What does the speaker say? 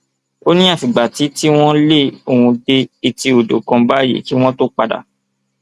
ó ní àfìgbà tí tí wọn lé òun dé etí odò kan báyìí kí wọn tóó padà